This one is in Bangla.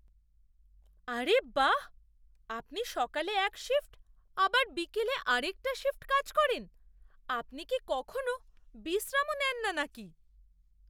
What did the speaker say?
আরে বাহ্! আপনি সকালে এক শিফ্ট আবার বিকেলে আরেকটা শিফ্ট কাজ করেন! আপনি কি কখনও বিশ্রামও নেন না নাকি?